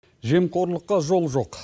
жемқорлыққа жол жоқ